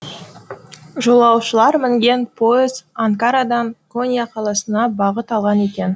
жолаушылар мінген пойыз анкарадан конья қаласына бағыт алған екен